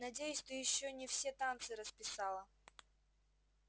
надеюсь ты ещё не все танцы расписала